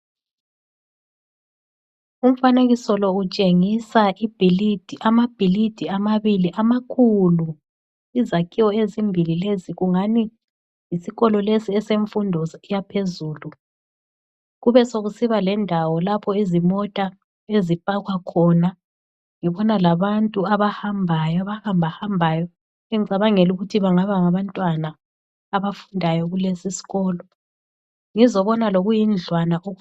Umfanekiso lo utshengisa ibhilidi amabhilidi amabili amakhulu. Izakhiwo ezimbili lezi kungani yisikolo lesi esemfundo yaphezulu. Kube sekusiba lendawo lapho izimota ezipakwa khona. Ngibona labantu abahambayo, abahamba hambayo engicabangela ukuthi bangaba ngabantwana abafundayo kulesi sikolo. Ngizobona lokuyi ndlwana.